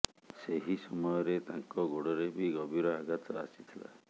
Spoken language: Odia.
ସେହି ସମୟରେ ତାଙ୍କ ଗୋଡ଼ରେ ବି ଗଭୀର ଆଘାତ ଆସିଥିଲା